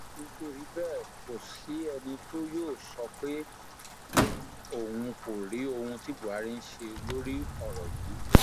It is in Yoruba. nítorí bẹẹ kò sí ẹni tí yóò sọ pé òun kò rí ohun tí buhari ń ṣe lórí ọrọ yìí